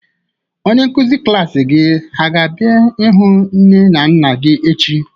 Onye nkụzi klas gị a ga bịa hụ nne na nna gị echi?